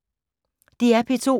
DR P2